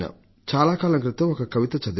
చాలాకాలం క్రితం ఒక కవిత చదివాను